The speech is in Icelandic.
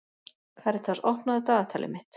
Karitas, opnaðu dagatalið mitt.